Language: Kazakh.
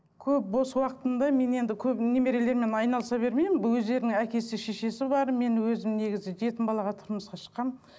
көп бос уақытымды мен енді көп немерелермен айналыса бермеймін өздерінің әкесі шешесі бар мен өзім негізі жетім балаға тұрмысқа шыққанмын